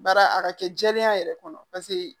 Baara a ka kɛ jɛlenya yɛrɛ kɔnɔ paseke